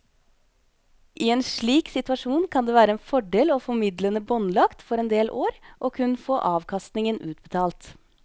I en slik situasjon kan det være en fordel å få midlene båndlagt for en del år og kun få avkastningen utbetalt.